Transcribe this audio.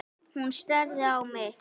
Hún starir á mig.